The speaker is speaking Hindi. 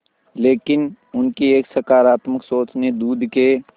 लेकिन उनकी एक सकरात्मक सोच ने दूध के